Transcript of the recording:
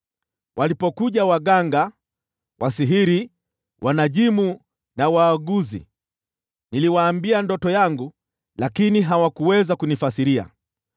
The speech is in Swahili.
Walipokuja waganga, wasihiri, wanajimu na waaguzi, niliwaambia ndoto yangu, lakini hawakuweza kunifasiria.